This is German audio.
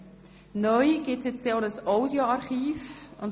Neu wird es auch ein Audioarchiv geben.